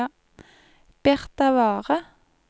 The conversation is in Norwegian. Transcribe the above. Birtavarre